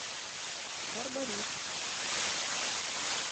барбарис